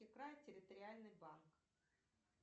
территориальный банк